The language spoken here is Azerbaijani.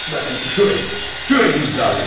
Baxın buranı, buranı imzalayacaqsınız.